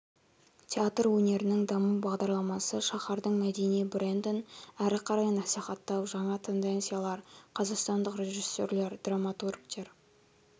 театр өнерінің даму бағдарламасы шаһардың мәдени брендін әрі қарай насихаттау жаңа тенденциялар қазақстандық режиссерлер драматургтер